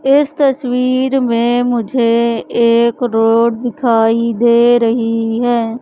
इस तस्वीर में मुझे एक रोड दिखाई दे रही है।